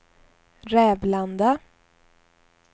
Rävlanda